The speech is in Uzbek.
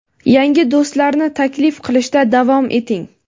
yangi do‘stlarni taklif qilishda davom eting!.